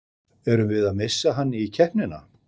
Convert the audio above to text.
Erum við að missa hann í keppnina?